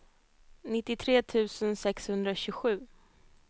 nittiotre tusen sexhundratjugosju